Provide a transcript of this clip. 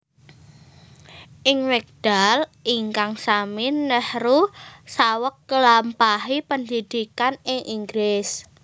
Ing wekdal ingkang sami Nehru saweg nglampahi pendhidhikan ing Inggris